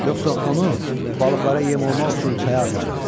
Yoxsa onu balıqlara yem olmaq üçün çaya atarıq.